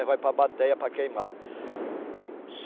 Aí vai para a bateia para queimar.